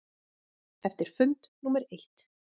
Eftir fund númer eitt.